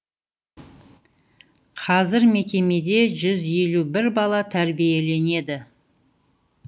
қазір мекемеде жүз елу бір бала тәрбиеленеді